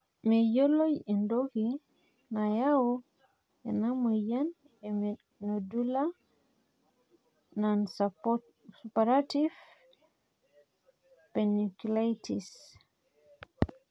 meyioloi entoki nayau ena moyian e nodular nonsuppurative panniculitis